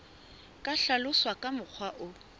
ka hlaloswa ka mokgwa o